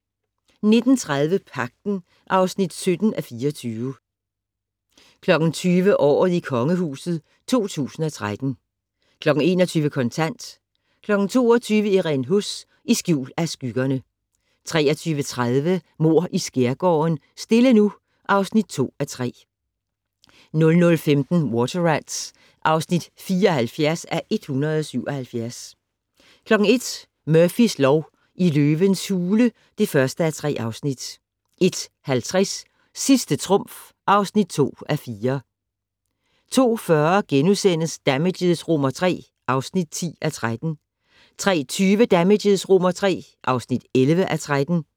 19:30: Pagten (17:24) 20:00: Året i Kongehuset 2013 21:00: Kontant 22:00: Irene Huss: I skjul af skyggerne 23:30: Mord i skærgården: Stille nu (2:3) 00:15: Water Rats (74:177) 01:00: Murphys lov: I løvens hule (1:3) 01:50: Sidste trumf (2:4) 02:40: Damages III (10:13)* 03:20: Damages III (11:13)